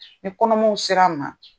Ni kɔnɔmaw ser'an ma.